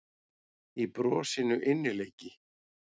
Í brosinu innileiki.